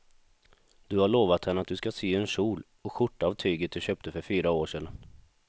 Du har lovat henne att du ska sy en kjol och skjorta av tyget du köpte för fyra år sedan.